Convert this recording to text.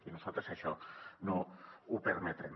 i nosaltres això no ho permetrem